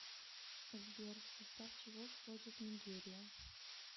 сбер в состав чего входит нигерия